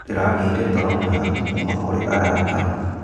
Ndĩragĩire toro mwega kuuma kũrĩ arata.